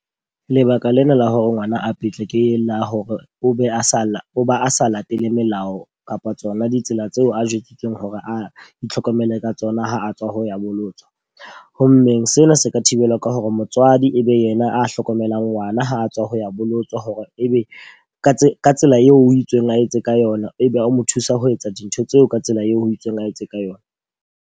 Lebaka lena la hore ngwana a petle ke la hore o be a sa la o ba a sa latele melao kapa tsona ditsela tseo a jwetsitseng hore a itlhokomele ka tsona ha a tswa ho ya bolotswa. Ho mmeng sena se ka thibelwa ka hore motswadi e be yena a hlokomelang ngwana ha a tswa ho ya bolotswa hore e be ka tsela ka tsela eo ho itsweng a etse ka yona. E be o mo thusa ho etsa dintho tseo ka tsela eo ho itsweng a etse ka yona.